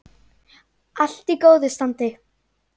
Allt í góðu standi.